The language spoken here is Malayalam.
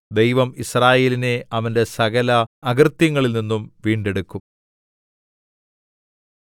ദൈവം യിസ്രായേലിനെ അവന്റെ സകല അകൃത്യങ്ങളിൽ നിന്നും വീണ്ടെടുക്കും